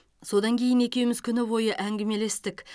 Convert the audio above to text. содан кейін екеуіміз күні бойы әңгімелестік